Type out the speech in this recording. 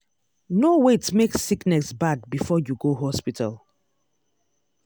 no wait make sickness bad before you go hospital.